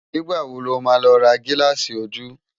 Nigbá wó ló má lò rá gilási ójú?